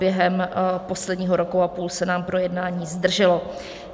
Během posledního roku a půl se nám projednání zdrželo.